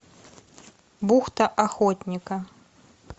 бухта охотника